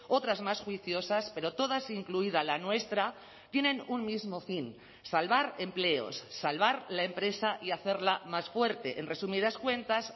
otras más juiciosas pero todas incluida la nuestra tienen un mismo fin salvar empleos salvar la empresa y hacerla más fuerte en resumidas cuentas